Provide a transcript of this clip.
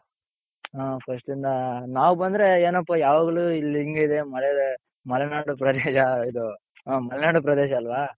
ಹ first ಯಿಂದ ನಾವ್ ಬಂದ್ರೆ ಏನಪ್ಪ ಯಾವಾಗ್ಲು ಇಲ್ಲಿ ಹಿಂಗಿದೆ ಮಳೆ ಮಲೆನಾಡು ಪ್ರದೇಶ ಇದು ಹ ಇದು ಮಲೆನಾಡು ಪ್ರದೇಶ ಅಲ್ವ?